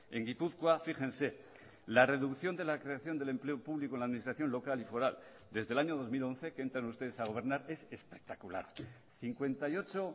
en gipuzkoa fíjense la reducción de la creación del empleo público en la administración local y foral desde el año dos mil once que entran ustedes a gobernar es espectacular cincuenta y ocho